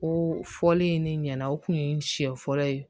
Ko fɔli in ne ɲɛna o kun ye siɲɛ fɔlɔ ye